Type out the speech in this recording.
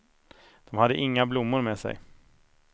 De hade inga blommor med sig.